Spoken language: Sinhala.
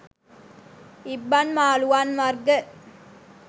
ඉබ්බන් මාළුවන් වර්ග